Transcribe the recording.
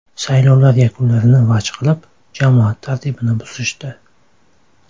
Saylovlar yakunlarini vaj qilib, jamoat tartibini buzishdi.